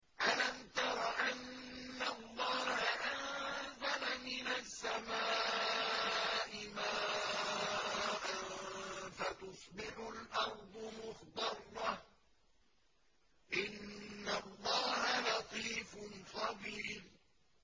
أَلَمْ تَرَ أَنَّ اللَّهَ أَنزَلَ مِنَ السَّمَاءِ مَاءً فَتُصْبِحُ الْأَرْضُ مُخْضَرَّةً ۗ إِنَّ اللَّهَ لَطِيفٌ خَبِيرٌ